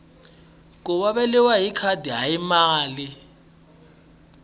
ku xaviwa hi khadi hayi mali